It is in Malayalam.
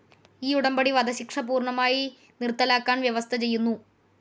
ഈ ഉടമ്പടി വധശിക്ഷ പൂർണ്ണമായി നിർത്തലാക്കാൻ വ്യവസ്ഥ ചെയ്യുന്നു.